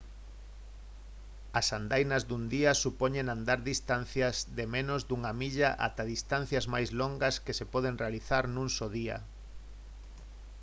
as andainas dun día supoñen andar distancias de menos dunha milla ata distancias máis longas que se poden realizar nun só día